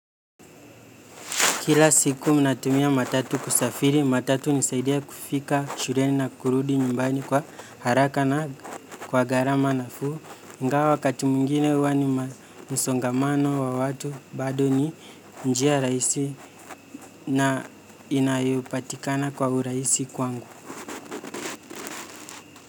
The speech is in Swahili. Kila siku natumia matatu kusafiri, matatu hunisaidia kufika shureni na kurudi nyumbani kwa haraka na kwa garama nafuu. Ngawa wakati mwingine uwa ni ma msongamano wa watu, bado ni njia rahisi na inayopatikana kwa urahisi kwangu.